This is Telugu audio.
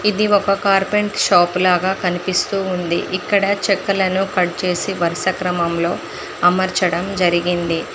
ఇది ఒక కార్పెంట్ షాప్ లాగా కనిపిస్తూ ఉంది ఇక్కడ చెక్కలను కట్ చేసి వరుస క్రమంలో అమర్చడం జరిగింది.